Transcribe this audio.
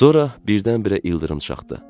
Sonra birdən-birə ildırım çaxdı.